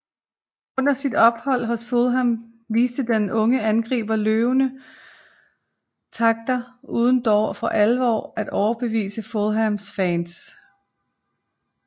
Under sit ophold hos Fulham viste den unge angriber lovende takter uden dog for alvor at overbevise Fulhams fans